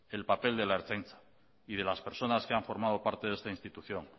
el papel de la ertzaintza y de las personas que han formado parte de esta institución